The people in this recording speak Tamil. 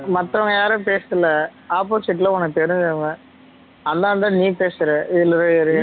மத்தவங்க யாரும் பேசல opposite ல உனக்கு தெறிச்சவிங்க அதுனாலதா நீ பேசற